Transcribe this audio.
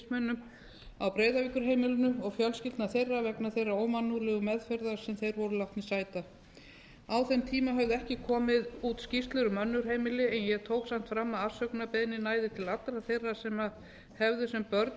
fyrrverandi vistmönnum á breiðavíkurheimilinu og fjölskyldna þeirra vegna þeirra ómannúðlegu meðferðar sem þeir voru látnir sæta á þeim tíma höfðu ekki komið út skýrslur um önnur heimili en ég tók samt fram að afsökunarbeiðnin næði til allra þeirra sem hefðu sem börn verið